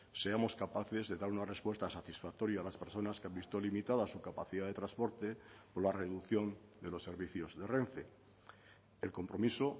seamos capaces de dar una respuesta satisfactoria a las personas que han visto limitada su capacidad de transporte por la reducción de los servicios de renfe el compromiso